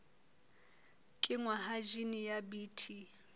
kenngwa ha jine ya bt